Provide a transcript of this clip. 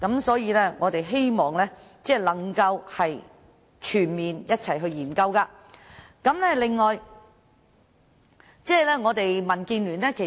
所以，我們希望能夠全面把各項安排一併研究。